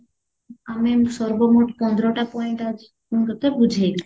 ଆମେ ସର୍ବ ମୋଟ କେତଟା point ଅଛି ତତେ ବୁଝେଇବି